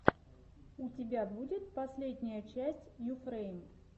у тебя будет последняя часть юфрэйм